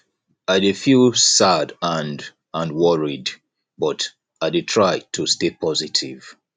i dey feel sad and and worried but i dey try to stay positive